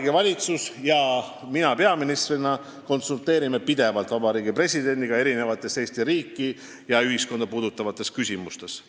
" Mina peaministrina ja kogu Vabariigi Valitsus konsulteerime pidevalt Vabariigi Presidendiga erinevates Eesti riiki ja ühiskonda puudutavates küsimustes.